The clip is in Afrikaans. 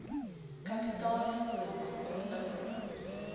kapitaal lok ontwikkel